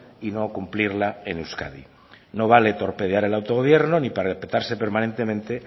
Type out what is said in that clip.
y no cumplirla en euskadi no vale torpedear el autogobierno ni parapetarse permanentemente